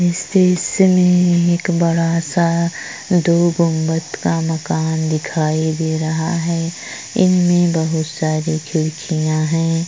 इस दॄश्य में एक बडा सा दो घुमट का मकान दिखाई दे रहा है इनमे बहोत सारे खिड़किया है।